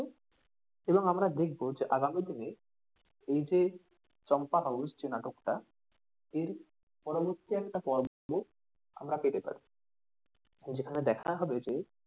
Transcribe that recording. এবং আমরা দেখবো যে আগামী দিনে এইযে চম্পা house যে নাটকটা এর পরবর্তী একটা পর্ব আমার পেতে পারি। যেখানে দেখা হবে যে,